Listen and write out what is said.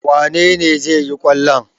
Wane ne zai yi kwallon?